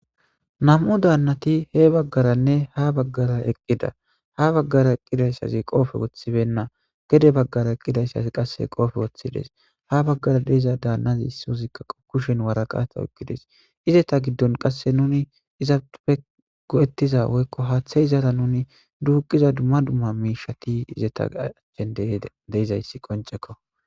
Nam7u daannati he baggaranne ha baggara eqqida ha baggara eqqiraysazi qoofe wothibenna gede baggara eqqidayssazi qasse qoofe woththides ha baggara deiza daannazi issozikka qokushen waraqata oykkides izeta giddon qasse nuni izaupfe go7ettiza woykko haaththe izaara nuni duuqiza dumma dumma miishati izeta achchen deizayssi qoncekko.